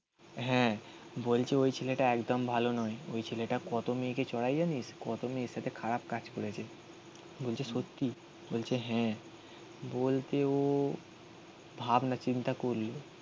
হ্যাঁ. বলছে ওই ছেলেটা একদম ভালো নয়. ওই ছেলেটা কত মেয়েকে চরায় জানিস? কত মেয়ের সাথে খারাপ কাজ করেছে. বলছে সত্যি. বলছে হ্যাঁ. বলতে ও ভাবনা চিন্তা করলো